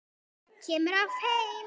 Kemur oft heim.